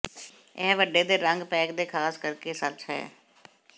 ਇਹ ਵੱਡੇ ਦੇ ਰੰਗ ਪੈਕ ਦੇ ਖਾਸ ਕਰਕੇ ਸੱਚ ਹੈ